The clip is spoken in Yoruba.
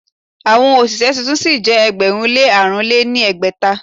Àwọn òṣìṣẹ́ tuntun sí jẹ́ ẹgbẹ̀rún lé àrùn lé ní ẹgbẹ́ta.